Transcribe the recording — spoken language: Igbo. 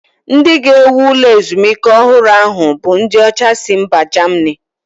Ndị ga-ewu ụlọ ezumike ọhụrụ ahụ bụ ndị ọcha si mba Germany